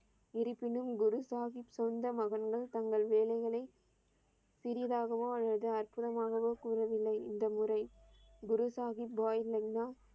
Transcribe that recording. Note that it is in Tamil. இருப்பினும், குரு சாகிப் சொந்த மகன்கள் தங்கள் வேலைகளை சிறிதாகவோ அல்லது அற்புதமாகவோ கூறவில்லை. இந்த முறை குரு சாகிப் பாய் லெக்னா